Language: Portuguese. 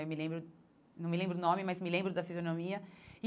Eu não me lembro não me lembro do nome, mas me lembro da fisionomia.